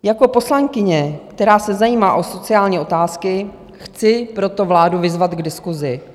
Jako poslankyně, která se zajímá o sociální otázky, chci proto vládu vyzvat k diskusi.